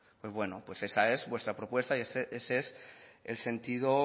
pues bueno esa es vuestra propuesta y ese es el sentido